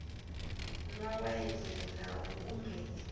nwa waini na u kumedza